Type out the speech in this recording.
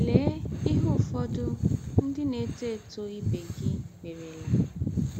Lee ihe ụfọdụ ndị na - etọ etọ ibe gị merela.